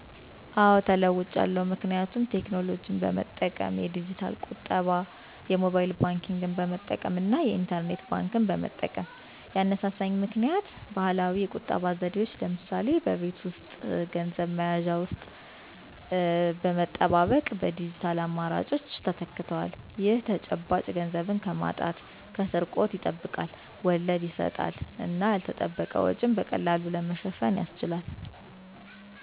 አዎ ተለዉጫለሁ ምክንያቱም የቴክኖሎጂ በመጠቀም (የዲጂታል ቁጠባ) -ምክንያት የሞባይል ባንክንግ መጠቀም እና የኢንተርኔት ባንክ መጠቀም። ያነሳሳኝ ምክኒያት ባህላዊ የቁጠባ ዘዴዎች (ለምሳሌ በቤት ውስጥ ገንዘብ መያዣ ውስጥ መጠባበቅ) በዲጂታል አማራጮች ተተክተዋል። ይህ ተጨባጭ ገንዘብን ከማጣት/ስርቆት ያስጠብቃል፣ ወለድ ይሰጣል እና ያልተጠበቀ ወጪን በቀላሉ ለመሸፈን ያስችላል።